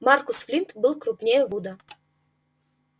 маркус флинт был крупнее вуда